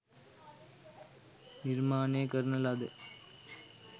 නිර්මාණය කරන ලද